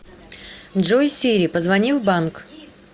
джой сири позвони в банк